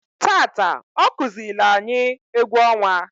Taata ọkụzịịlị anyị egwu ọnwa.